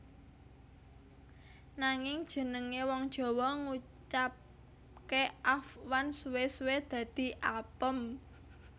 Nanging jenengé wong Jawa ngucapké afwan suwé suwé dadi apem